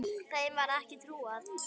Þeim var ekki trúað.